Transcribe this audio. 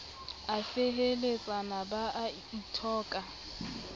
a feheletsana ba a ithoka